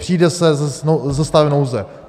Přijde se se stavem nouze.